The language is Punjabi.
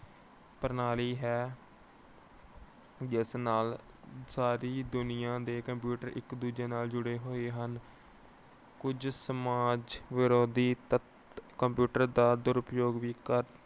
ਪ੍ਰਣਾਲੀ ਹੈ ਜਿਸ ਨਾਲ ਸਾਰੀ ਦੁਨੀਆਂ ਦੇ computer ਇੱਕ ਦੂਜੇ ਨਾਲ ਜੁੜੇ ਹੋਏ ਹਨ। ਕੁਝ ਸਮਾਜ ਵਿਰੋਧੀ ਤੱਤ computer ਦਾ ਦੁਰਉਪਯੋਗ ਵੀ ਕਰ